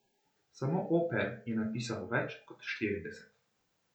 Samo oper je napisal več kot štirideset.